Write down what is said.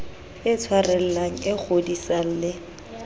e tshwarellang e kgodisang le